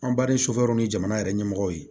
Anba ni ni jamana yɛrɛ ɲɛmɔgɔw ye